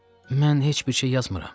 Mən heç bir şey yazmıram.